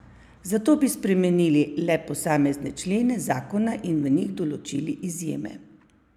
Zato bi spremenili le posamezne člene zakona in v njih določili izjeme.